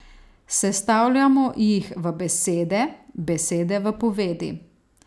Sestavljamo jih v besede, besede v povedi.